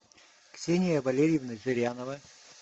ксения валерьевна зырянова